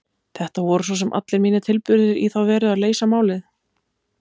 Þetta voru svo sem allir mínir tilburðir í þá veru að leysa málið.